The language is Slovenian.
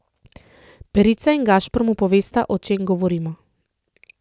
Perica in Gašper mu povesta, o čem govorimo.